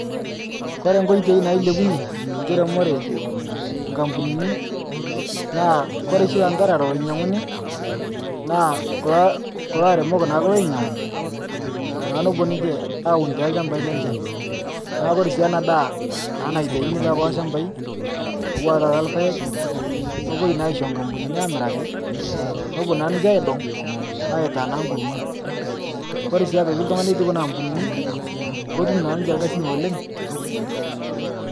Kore nkoitei nailepunye nkiremore nkapunini naakore shii lantarara loinyanguni naa kulo aremok naake loinyangu naa napuo niche aaun telshambai lenche naaku kore si ana daa naitaini tekulo lshambai uaa tata lpaeg nepoi naa aicho nkapunini amiraki nepuo naa ninche aidong aitaaa naa nkurma kore sii aitoki ltungana lotii kuna ampunini kotum naa ninche lkasin oleng